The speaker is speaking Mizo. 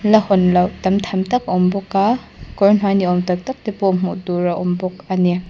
la hawn loh tam tham tak a awm bawk a kawr hnuai ni awm tak tak te pawh hmuh tur a awm bawk ani.